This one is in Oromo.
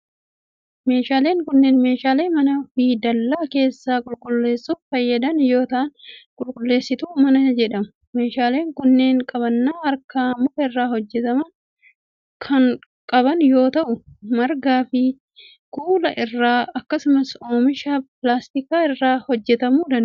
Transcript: Meeshaaleen kunneen, meeshaalee mana fi dallaa keessa qulqulleessuuf fayyadan yoo ta'an, qulqulleessituu manaa jedhamu. Meeshaaleen kunneen qabannaa harkaa muka irraa hojjataman kan qaban yoo ta'u, marga fi kuula irraa akkasumas oomisha pilaastikaa irraa hojjatamuu danda'u.